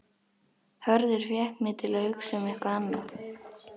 Hörður fékk mig til að hugsa um eitthvað annað.